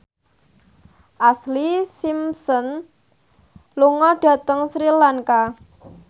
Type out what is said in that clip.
Ashlee Simpson lunga dhateng Sri Lanka